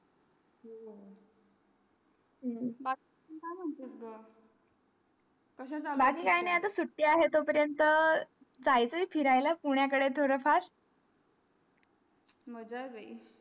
हम्म बाकी काय महानतेचा ग बाकी काही नाही आता सुटी आहे त्या पर्यन्त जायचा फिरायला ला पुण्य काढे थोडा फार माझा आहे बाई